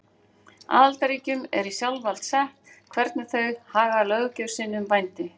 Aðildarríkjunum er í sjálfsvald sett hvernig þau haga löggjöf sinni um vændi.